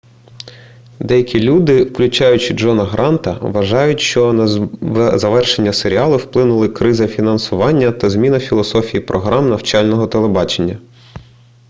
деякі люди включаючи джона гранта вважають що на завершення серіалу вплинули криза фінансування та зміна філософії програм навчального телебачення